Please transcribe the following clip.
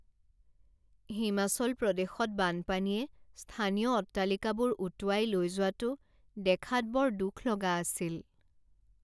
হিমাচল প্ৰদেশত বানপানীয়ে স্থানীয় অট্টালিকাবোৰ উটুৱাই লৈ যোৱাটো দেখাত বৰ দুখলগা আছিল।